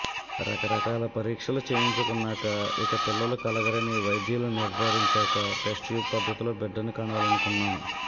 రకరకాల పరీక్షలు చేయించుకున్నాక ఇక పిల్లలు కలగరని వైద్యులు నిర్ధరించాక టెస్ట్ట్యూబ్ పద్ధతిలో బిడ్డను కనాలనుకున్నాం